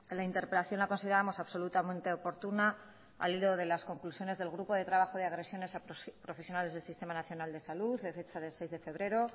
la interpelación la consideramos absolutamente oportuna al hilo de las conclusiones del grupo de trabajo de agresiones a profesionales del sistema nacional de salud de fecha de seis de febrero